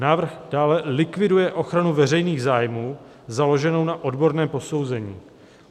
"Návrh dále likviduje ochranu veřejných zájmů založenou na odborném posouzení.